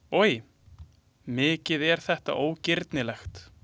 Oj, mikið er þetta ógirnilegt!